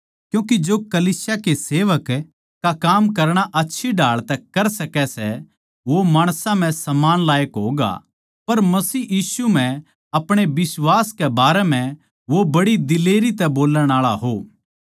क्यूँके जो कलीसिया के सेवक का काम आच्छी ढाळ तै कर सकै सै वो माणसां म्ह सम्मान लायक होगा पर मसीह यीशु म्ह अपणे बिश्वास के बारें म्ह वो बड़ी दिलेरी तै बोल्लण आळा हो